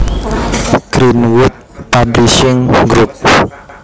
Greenwood Publishing Group